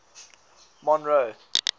monroe